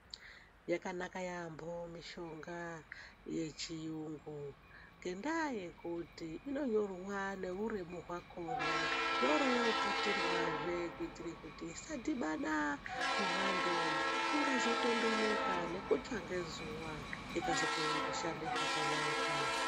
Yakanaka yaambo mishonga yechiyungu ngendaa yekuti inonyorwa neuremu hwakona yooro yooputirwaze kuitire kuti isadhibane nemwando, ingazotondoneka nekutsva ngezuwa ingazokorere kushande zvakanaka.